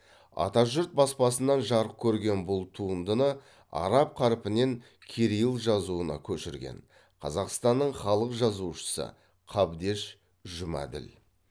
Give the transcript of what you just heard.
атажұрт баспасынан жарық көрген бұл туындыны араб қарпінен кирилл жазуына көшірген қазақстанның халық жазушысы қабдеш жұмаділ